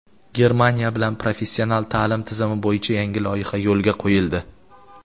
Germaniya bilan professional ta’lim tizimi bo‘yicha yangi loyiha yo‘lga qo‘yildi.